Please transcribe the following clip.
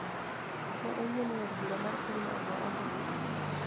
Ne oyie ni od bura mar pinyno ogo ombulu